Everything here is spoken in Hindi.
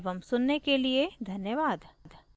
इस ट्यूटोरियल को देखने एवं सुनने के लिए धन्यवाद